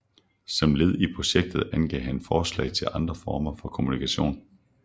Som led i projektet angav han forslag til andre former for kommunikation